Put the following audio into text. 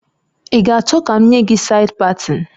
Ị ga achọ ka m nye gi said patin?